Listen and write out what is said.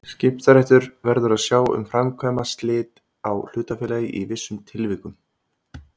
Skiptaréttur verður að sjá um að framkvæma slit á hlutafélagi í vissum tilvikum.